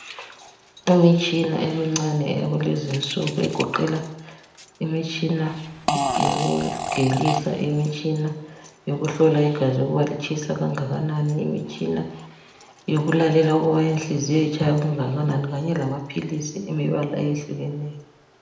Imitshina emincane yakulezinsuku egoqela imitshina yokugelisa, imitshina yokuhlola igazi ukuba litshisa kangakanani, imitshina yokulalela ukuthi inhliziyo itshaya kangakanani kanye lamaphilisi alemibala etshiyeneyo